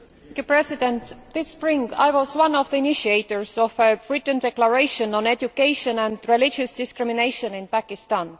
Mr President, this spring I was one of the initiators of a written declaration on education and religious discrimination in Pakistan.